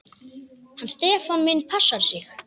Hann Stefán minn passar sig.